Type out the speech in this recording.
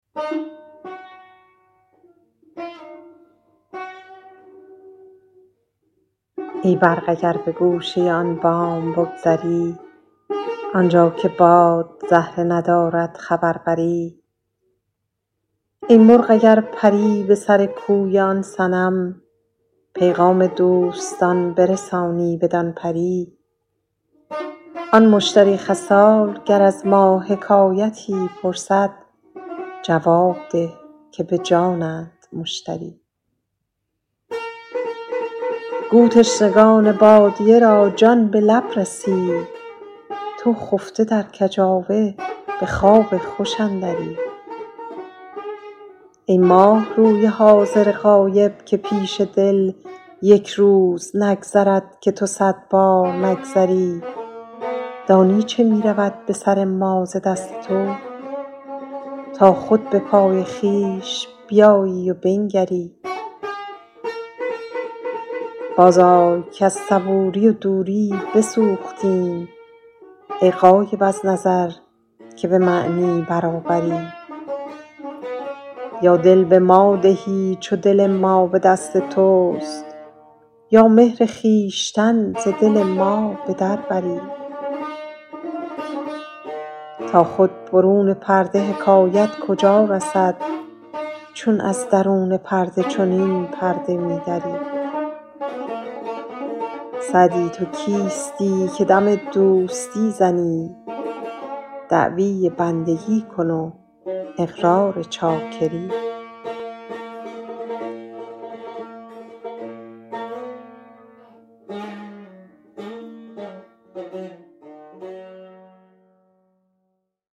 ای برق اگر به گوشه آن بام بگذری آنجا که باد زهره ندارد خبر بری ای مرغ اگر پری به سر کوی آن صنم پیغام دوستان برسانی بدان پری آن مشتری خصال گر از ما حکایتی پرسد جواب ده که به جانند مشتری گو تشنگان بادیه را جان به لب رسید تو خفته در کجاوه به خواب خوش اندری ای ماهروی حاضر غایب که پیش دل یک روز نگذرد که تو صد بار نگذری دانی چه می رود به سر ما ز دست تو تا خود به پای خویش بیایی و بنگری بازآی کز صبوری و دوری بسوختیم ای غایب از نظر که به معنی برابری یا دل به ما دهی چو دل ما به دست توست یا مهر خویشتن ز دل ما به در بری تا خود برون پرده حکایت کجا رسد چون از درون پرده چنین پرده می دری سعدی تو کیستی که دم دوستی زنی دعوی بندگی کن و اقرار چاکری